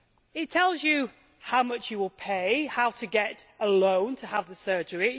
It tells you how much you will pay, and how to get a loan to have the surgery.